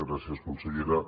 gràcies consellera